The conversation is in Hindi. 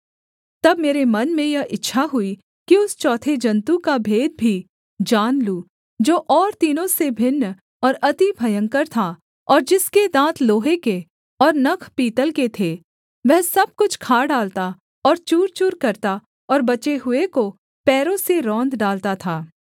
तब मेरे मन में यह इच्छा हुई कि उस चौथे जन्तु का भेद भी जान लूँ जो और तीनों से भिन्न और अति भयंकर था और जिसके दाँत लोहे के और नख पीतल के थे वह सब कुछ खा डालता और चूरचूर करता और बचे हुए को पैरों से रौंद डालता था